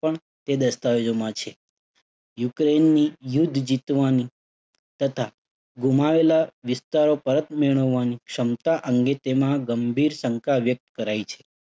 પણ તે દસ્તાવેજોમાં છે. યુક્રેઇનની યુદ્ધ જીતવાની તથા ગુમાવેલા વિસ્તારો પરત મેળવવાની ક્ષમતા અંગે તેમાં ગંભીર શંકા વ્યક્ત કરાઈ છે.